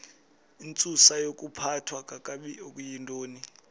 intsusayokuphathwa kakabi okuyintoni